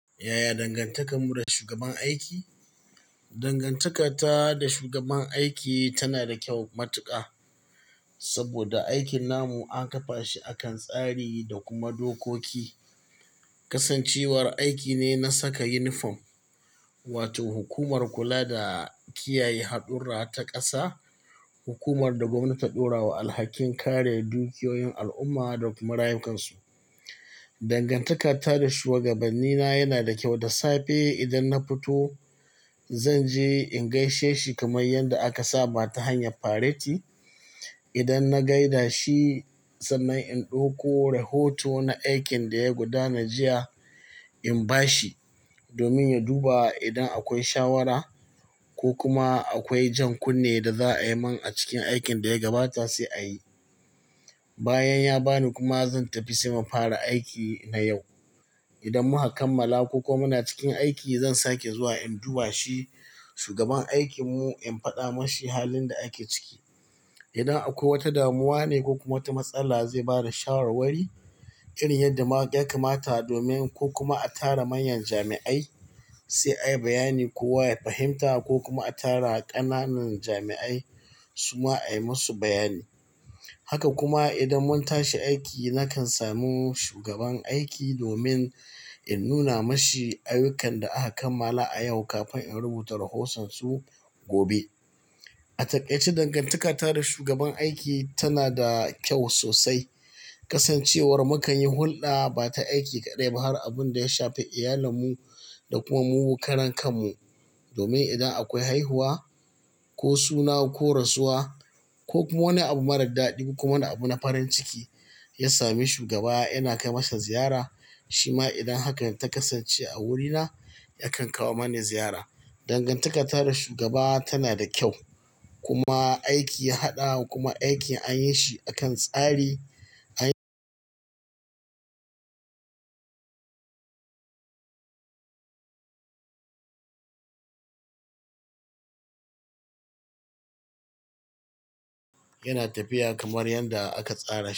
Yaya dangantakar mu da shugaban aiki? Dangantakar ta da shugaban aiki tana da kyau matuƙa saboda aikin namu an kafa shi akan tsari da kuma dokoki. Kasancewar aiki ne na saka uniform, wato hukumar kula da kiyaye haɗurra ta ƙasa, hukumar da gwamnati ta ɗora wa alhakin kare dukiyoyin al'umma da kuma rayukansu. Dangantakar ta da shugabanni na yana da kyau, da safe idan na fito, zan je in gaishe shi kamar yadda aka saba ta hanyar fareti. Idan na gaida shi sannan in ɗauko rahoto na aikin da ya gudana jiya, in ba shi domin ya duba idan akwai shawara ko kuma akwai jan kunne da za a yi min a cikin aikin da ya gabata sai a yi. Bayan ya ba ni kuma zan tafi sai mu fara aiki na yau. Idan muka kammala ko kuma muna cikin aiki zan sake zuwa in duba shi shugaban aikin mu in faɗa mashi halin da ake ciki. Idan akwai wata damuwa ne ko kuma wata matsala zai bada shawarwari irin yadda ma ya kamata domin ko kuma a tara manyan jami'ai sai a yi bayani ko wa ya fahimta ko kuma a tara ƙananan jami'ai suma a yi masu bayani. Haka kuma idan mun tashi aiki, nakan samu shugaban aiki domin in nuna mashi ayyukan da aka kammala a yau kafin in rubuta rahotonsu gobe. A takaice dangantakar ta da shugaban aiki tana da kyau sosai. Kasancewar mukan yi hulɗa ba ta aiki kaɗai ba har abun da ya shafi iyalan mu, da kuma mu karankan mu. Domin idan akwai haihuwa ko suna ko rasuwa, ko kuma wani abu marar daɗi, ko kuma wani abu na farin ciki ya sami shugaba yana kai masa ziyara. Shi ma idan hakan ta kasance a wurina yakan kawo mani ziyara. Dangantakar ta da shugaba tana da kyau kuma aiki ya haɗa kuma aikin an yi shi akan tsari an yana tafiya kamar yadda aka tsara.